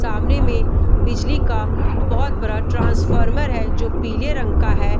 सामने मे बिजली का बहुत बड़ा ट्रांसफॉर्मर है जो पीले रंग का है।